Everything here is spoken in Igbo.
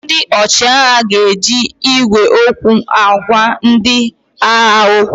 Ndị ọchịagha ga-eji igwe okwu agwa ndị agha okwu